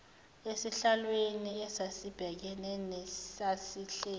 esihlalweni esasibhekene nesasihleli